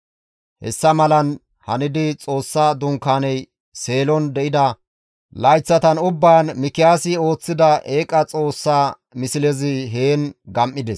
Hessa malan hanidi Xoossa Dunkaaney Seelon de7ida layththatan ubbaan Mikiyaasi ooththida eeqa xoossa mislezi heen gam7ides.